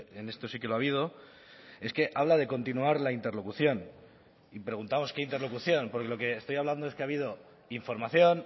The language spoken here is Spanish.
en esto sí que lo ha habido es que habla de continuar la interlocución y preguntamos qué interlocución porque lo que estoy hablando es que ha habido información